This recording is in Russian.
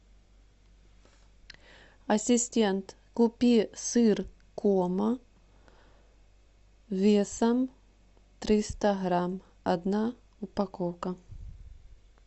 ассистент купи сыр кома весом триста грамм одна упаковка